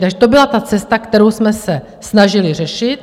Takže to byla ta cesta, kterou jsme se snažili řešit.